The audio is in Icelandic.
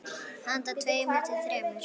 Handa tveimur til þremur